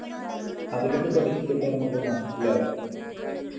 അതിലൊക്കെ പിടിച്ചപ്പൊ നമ്മക്ക് മനസിലാകും